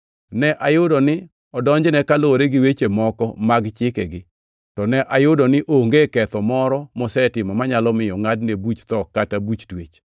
Ne ayudo ni ne odonjne kaluwore gi weche moko mag chikegi, to ne ayudo ni onge ketho moro mosetimo manyalo miyo ngʼadne buch tho kata buch twech.